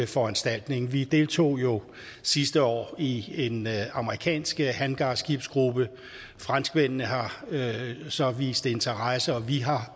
foranstaltning vi deltog jo sidste år i en amerikansk hangarskibsgruppe franskmændene har så vist interesse og vi har